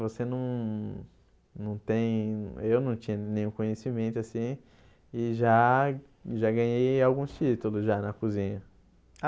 Você não não tem... Eu não tinha nenhum conhecimento, assim, e já já ganhei alguns títulos já na cozinha.